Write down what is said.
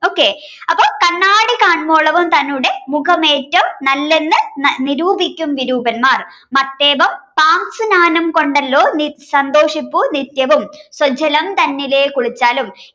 okay അപ്പൊ കണ്ണാടി കാൺവോളം തന്നുടെ മുഖമേറ്റo നല്ലെന്ന് നിരൂപിക്കും വിരൂപന്മാർ മത്തേപം സാംശുനാനം കൊണ്ടല്ലോ സന്തോഷിപ്പൂ നിത്യവും സ്വജ്ജലം തന്നിലെ കുളിച്ചാലും